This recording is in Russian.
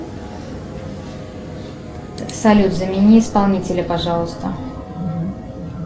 салют замени исполнителя пожалуйста